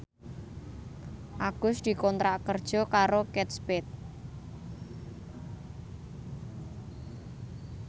Agus dikontrak kerja karo Kate Spade